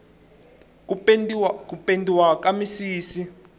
ku pendiwa ka misisi